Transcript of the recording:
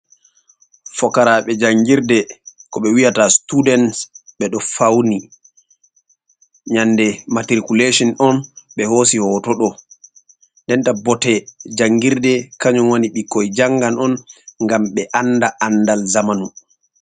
Fokaraɓe jangirde ko ɓe wiyata students ɓe ɗo fauni, nyande matriculation on ɓe hosi hoto ɗo, nden ta bote jangirde kayum woni ɓikkoi jangan on ngam ɓe anda andal zamanu.